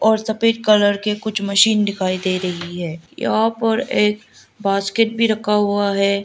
और सफेद कलर के कुछ मशीन दिखाई दे रही है यहां पर एक बास्केट भी रखा हुआ है।